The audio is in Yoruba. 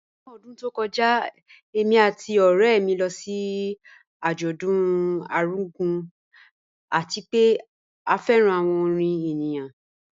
Ni ọdún tó kọ́jà, èmi àti ọ̀rẹ̀ mi lọ sí ajọ̀dún Argungu, àti pẹ̀ à fẹ́ran awọn orin ènìyàn